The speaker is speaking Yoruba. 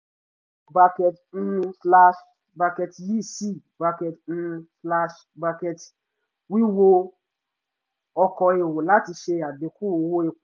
bracket um slash bracket yi si bracket um slash bracket wíwo ọkọ̀ èrò láti ṣe àdínkù owó epo